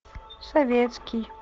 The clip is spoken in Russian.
советский